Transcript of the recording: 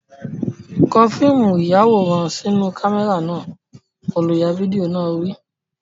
Kó fíìmù ìyàwòrán sínú kámẹ́rà náà! Olùya fídíò náà wí.